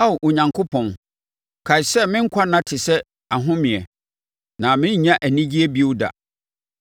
Ao Onyankopɔn, kae sɛ me nkwanna te sɛ ahomeɛ; na merennya anigyeɛ bio da.